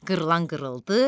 Qırılan qırıldı,